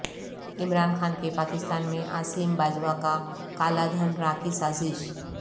عمران خان کے پاکستان میں عاصم باجوا کا کالا دھن را کی سازش